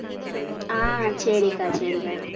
அஹ் சரிக்கா சரிக்கா